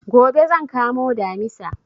Gobe zan kamo Damisa